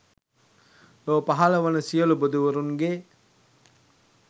ලොව පහළ වන සියලු බුදුවරුන්ගේ